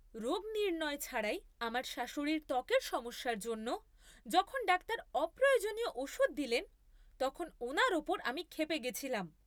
রোগ নির্ণয় ছাড়াই আমার শাশুড়ির ত্বকের সমস্যার জন্য, যখন ডাক্তার অপ্রয়োজনীয় ওষুধ দিলেন তখন ওনার ওপর আমি ক্ষেপে গেছিলাম।